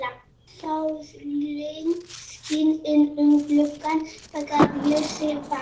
Sólin skín inn um gluggann þegar Bjössi vaknar.